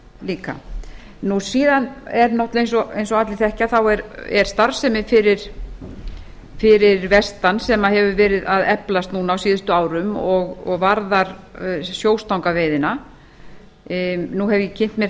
líka eins og allir þekkja er starfsemi fyrir vestan sem hefur verið að eflast á síðustu árum og varðar sjóstangaveiði nú hef ég kynnt mér